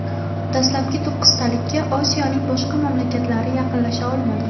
Dastlabki to‘qqiztalikka Osiyoning boshqa mamlakatlari yaqinlasha olmadi.